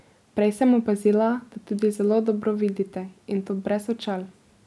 Prej sem opazila, da tudi zelo dobro vidite, in to brez očal.